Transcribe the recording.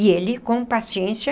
E ele, com paciência,